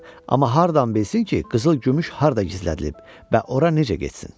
Amma hardan bilsin ki, qızıl gümüş harda gizlədilib və ora necə getsin.